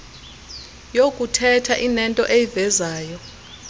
yokuthetha inento eyivezayo